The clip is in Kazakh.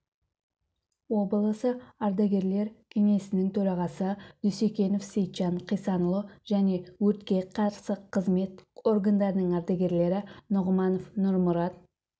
облысы ардагерлер кеңесінің төрағасы дүйсекенов сейтжан қисанұлы және өртке қарсы қызмет органдарының ардагерлері нұғманов нұрмұрат